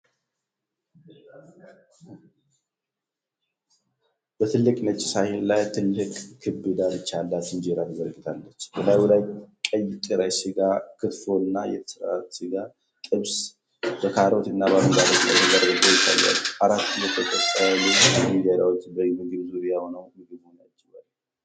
በትልቅ ነጭ ሳህን ላይ ትልቅ ክብ ዳርቻ ያላት እንጀራ ተዘርግታለች። በላዩ ላይ ቀይ ጥሬ ሥጋ (ክትፎ) እና የተሰራ ስጋ (ጥብስ/ትብስ) በካሮት እና በአረንጓዴ ቅጠል ተደርቦ ይታያል። አራት የተጠቀለሉ እንጀራዎች በምግቡ ዙሪያ ሆነው ምግቡን ያጅባሉ።